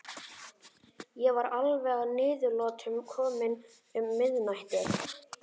Ég var alveg að niðurlotum kominn um miðnætti.